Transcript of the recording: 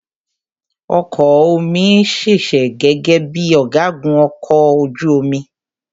Ọkọ ọ̀ mi ṣiṣẹ́ gẹ́gẹ́ bíi ọ̀gágun ọkọ̀ ojú omi.